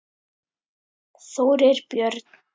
Þórir Björn.